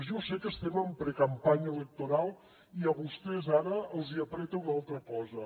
jo sé que estem en precampanya electoral i a vostès ara els apreta una altra cosa